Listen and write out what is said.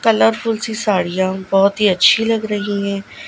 Colourful सी साड़ियाँ बहोत ही अच्छी लग रही है।